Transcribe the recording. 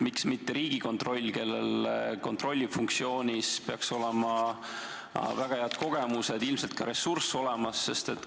Miks mitte Riigikontroll, kellel peaks kontrollifunktsioonis olema väga head kogemused, ilmselt ka ressurss olemas?